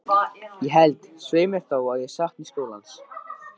Ég held, svei mér þá, að ég sakni skólans.